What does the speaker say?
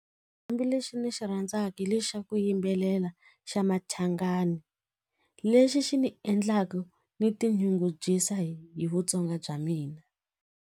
lexi ni xi rhandzaka hi lexi xa ku yimbelela xa machangani lexi xi ni endlaka ni tinyungubyisa hi vutsonga bya mina.